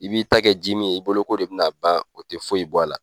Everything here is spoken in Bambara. I b'i ta kɛ ji min ye, i bolo ko de bɛ na ban o tɛ foyi i bɔ a la.